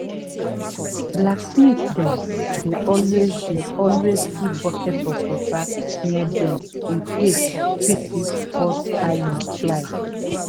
blacksmith dem dey always dey always keep bucket of water near dem incase pieces hot iron fly.